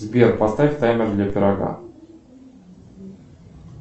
сбер поставь таймер для пирога